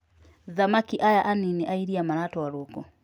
Thamaki aya anini a iria maratwarwo ku?